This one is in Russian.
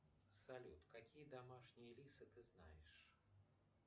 салют какие домашние лисы ты знаешь